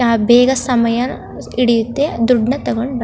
ಯಾ ಬೇಗ ಸಮಯ ಹಿಡಿಯುತ್ತೆ ಅದ್ ದುಡ್ಡ್ ನ್ ತಕೊಂಡ್ ಬ --